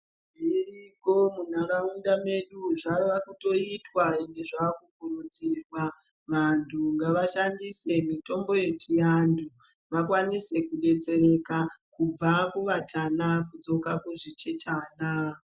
Zviriko munharaunda medu zvaakutoitwa ende zvaakukuridzirwa vantu ngavashandise mitombo yechiantu vakwanise kudetsereka kubva kuvatana kudzoka kuzvitetana.